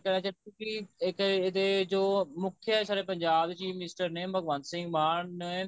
ਕਹਿਣਾ ਚਾਹੁੰਦਾ ਕਿ ਇੱਕ ਇਹਦੇ ਜੋ ਮੁੱਖ ਸਾਡੇ ਪੰਜਾਬ ਦੇ chief minister ਨੇ ਭਗਵੰਤ ਸਿੰਘ ਮਾਨ